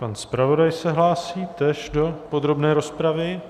Pan zpravodaj se hlásí též do podrobné rozpravy.